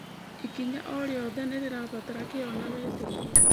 Ikinya o rĩothe nĩ rĩrabatara kĩyo na wĩtĩkio.